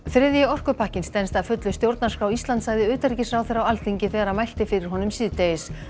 þriðji orkupakkinn stenst að fullu stjórnarskrá Íslands sagði utanríkisráðherra á Alþingi þegar hann mælti fyrir honum síðdegis